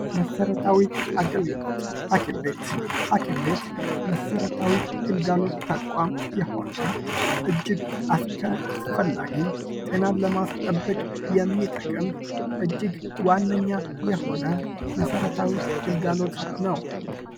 መሰረታዊ አገልግሎት ፦ ሀኪም ቤት ፦ ሀኪም ቤት መሰረታዊ ግልጋሎት ተቋም የሆነ ፣ እጅግ አስፈላጊ ፣ ጤናን ለማስጠበቅ የሚጠቅም ፣ እጅግ ዋነኛ የሆነ መሰረታዊ ግልጋሎት ነው ።